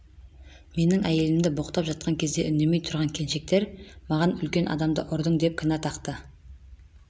менің әйелімді боқтап жатқан кезде үндемей тұрған келіншектер маған үлкен адамды ұрдың деп кінә тақты